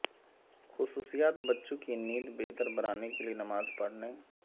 خصوصیات بچوں کی نیند بہتر بنانے کے لئے نماز پڑھنے